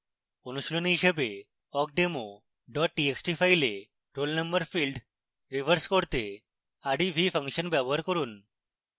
অনুশীলনী হিসাবে awkdemo txt file roll number field reverse করতে rev ফাংশন ব্যবহার করুন